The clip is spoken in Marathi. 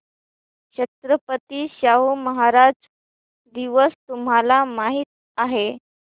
छत्रपती शाहू महाराज दिवस तुम्हाला माहित आहे